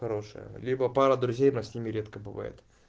хорошая либо пара друзей она с ними редко бывает